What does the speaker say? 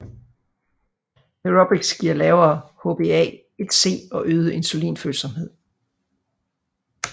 Aerobics giver lavere HbA1C og øget insulinfølsomhed